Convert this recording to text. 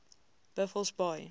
buffelsbaai